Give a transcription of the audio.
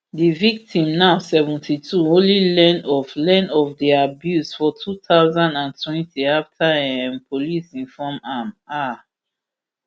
di victim now seventy-two only learn of learn of di abuse for two thousand and twenty afta um police inform am um